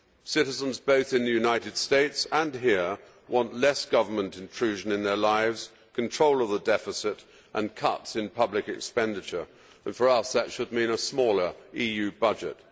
Citizens both in the United States and here want less government intrusion in their lives, control of the deficit and cuts in public expenditure, and for us that should mean a smaller EU budget.